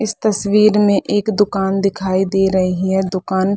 इस तस्वीर में एक दुकान दिखाई दे रही हैं दुकान --